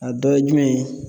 A dɔ ye jumɛn ye.